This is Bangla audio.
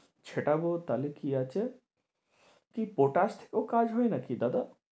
ছেটাবো তাহলে কি আছে ঠিক পটাশেও কাজ হয় নাকি দাদা?